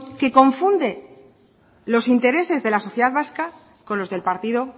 que confunde los intereses de la sociedad vasca con los del partido